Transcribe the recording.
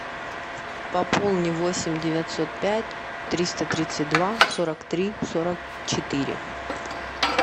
пополни восемь девятьсот пять триста тридцать два сорок три сорок четыре